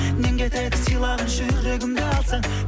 нең кетеді сыйлап жүрегімді алсаң